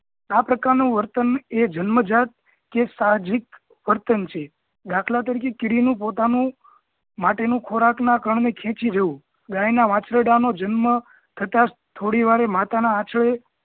આ પ્રકાર નુ વર્તન એ જન્મજાત કે સહધવિક વર્તન છે દાખલા તરીકે કીડી નું પોતાનું માટેનું ખોરાકના કણને ખેંચી જવું, ગાયના વાછરડા નો જન્મ થતાં થોડી વારે માતા નાં આછડે